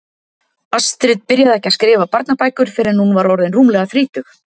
Astrid byrjaði ekki að skrifa barnabækur fyrr en hún var orðin rúmlega þrítug.